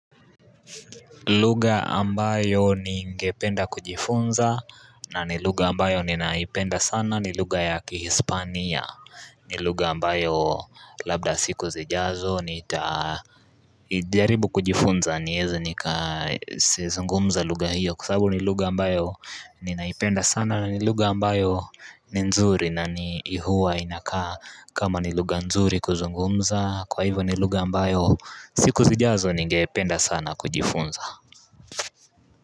Lugha ambayo ningependa kujifunza na ni lugha ambayo ninaipenda sana ni lugha ya kihispania ni lugha ambayo labda siku zijazo nita jaribu kujifunza nieze nikazungumza lugha hiyo kwa sabu ni lugha ambayo ninaipenda sana na ni lugha ambayo ni nzuri na hua inakaa kama ni lugha nzuri kuzungumza kwa hivyo ni lugha ambayo siku zijazo ningependa sana kujifunza.